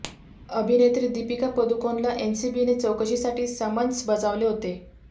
अभिनेत्री दीपिका पदुकोणला एनसीबीने चौकशीसाठी समन्स बजावले होते